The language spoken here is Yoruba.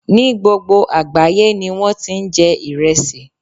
Ní gbogbo àgbáyé ni wón ti ń jẹ Ìresì.